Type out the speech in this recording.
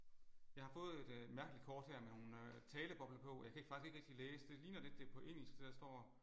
Jeg har fået et øh mærkeligt kort her med nogle talebobler på jeg ikke kan faktisk ikke rigtig læse det ligner lidt det er på engelsk det der står